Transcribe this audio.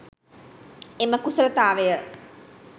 එම කුසලතාවය